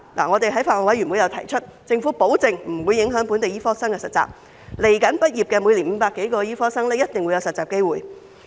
我們在法案委員會提出，政府保證不會影響本地醫科生的實習，以後每年畢業的500多名醫科生一定有實習機會。